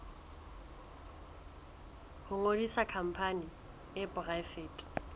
ho ngodisa khampani e poraefete